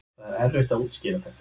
Það er erfitt að útskýra þetta